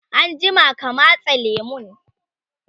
anjima ka matse lemun!